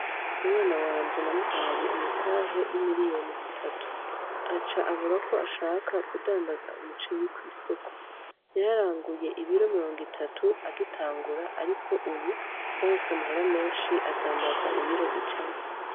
Umwana wanje namuhaye umutahe w'imiliyoni zitatu, aca avuga ko ashaka kudandaza umuceri kw'isoko. Yararanguye ibiro mirongo itatu agitangura, ariko ubu yaronse amahera menshi adandaza ibiro ijana.